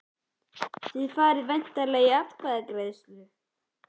Þið farið væntanlega í atkvæðagreiðslu?